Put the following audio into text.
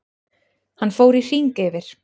Hann fór í hring yfir